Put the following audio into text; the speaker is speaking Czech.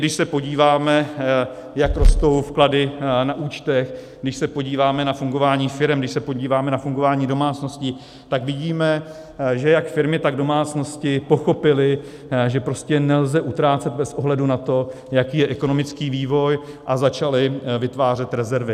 Když se podíváme, jak rostou vklady na účtech, když se podíváme na fungování firem, když se podíváme na fungování domácností, tak vidíme, že jak firmy, tak domácnosti pochopily, že prostě nelze utrácet bez ohledu na to, jaký je ekonomický vývoj, a začaly vytvářet rezervy.